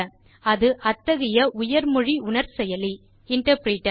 அது அத்தகைய உயர் மொழி உணர் செயலி இன்டர்பிரிட்டர்